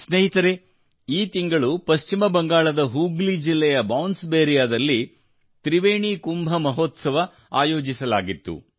ಸ್ನೇಹಿತರೇ ಈ ತಿಂಗಳು ಪಶ್ಚಿಮ ಬಂಗಾಳದ ಹೂಗ್ಲಿ ಜಿಲ್ಲೆಯ ಬಾನ್ಸ್ ಬೇರಿಯಾದಲ್ಲಿ ತ್ರಿವೇಣಿ ಕುಂಭ ಮಹೋತ್ಸವ ಆಯೋಜಿಸಲಾಗಿದೆ